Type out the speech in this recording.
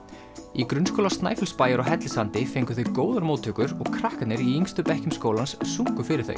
í Grunnskóla Snæfellsbæjar á Hellissandi fengu þau góðar móttökur og krakkarnir í yngstu bekkjum skólans sungu fyrir þau